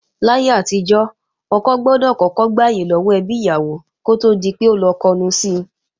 Láyé àtijọ́, ọkọ ìyàwó gbọdọ̀ kọ́kọ́ gbàyè lọ́wọ́ ẹbí ìyàwó kó tó di pé ó lọ kọnu si